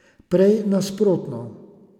Prej nasprotno.